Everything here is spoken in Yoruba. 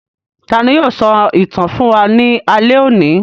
Tani yóò sọ ìtàn fún wa ní alẹ́ òní?